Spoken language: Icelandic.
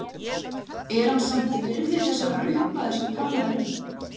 Er hann samt virði þessar upphæðar sem talað er um?